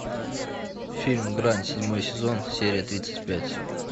фильм гранд седьмой сезон серия тридцать пять